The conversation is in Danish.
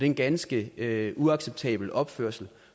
en ganske uacceptabel opførsel